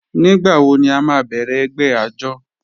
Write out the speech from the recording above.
Nígbàwọ̀ ní à má bẹ̀rẹ̀ ẹgbẹ̀ àjọ̀?